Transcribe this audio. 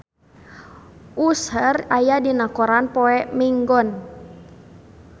Usher aya dina koran poe Minggon